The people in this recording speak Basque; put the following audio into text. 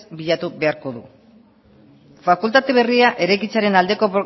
bilatu beharko du fakultate berria eraikitzearen aldeko